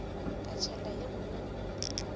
ka tsela ye nngwe go